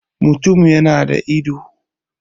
mutum ya da ido